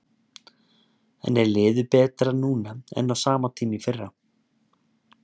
En er liðið betra núna en á sama tíma í fyrra?